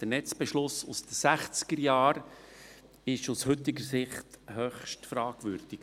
Der Netzbeschluss aus den Sechzigerjahren ist aus heutiger Sicht höchst fragwürdig.